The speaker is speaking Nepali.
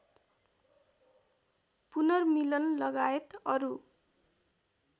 पुनर्मिलन लगायत अरू